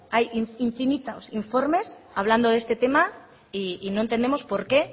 hay infinitos informes hablando de este tema y no entendemos por qué